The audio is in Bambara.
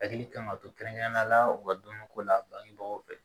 Hakili kan ka to kɛrɛnkɛrɛnnenya la u ka dumuniko la bangebagaw fɛ